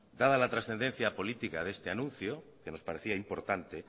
dada la trascendencia política de este anuncio que nos parecía importante